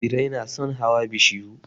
Birai na son hawa bishiyu.